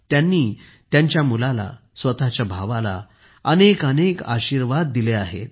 त्यांनी त्यांच्या मुलाला स्वतःच्या भावाला अनेकानेक आशीर्वाद दिले आहेत